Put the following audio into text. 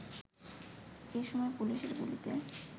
এ সময় পুলিশের গুলিতে